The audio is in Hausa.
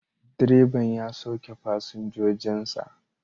Direban ya sauke fasinjojin sa